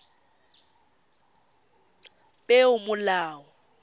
peomolao